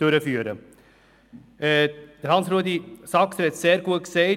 Grossrat Saxer hat es gut ausgeführt: